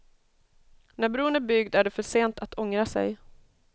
När bron är byggd är det för sent att ångra sig.